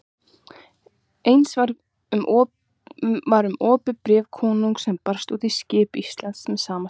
Eins var um opið bréf konungs sem barst út til Íslands með sama skipi.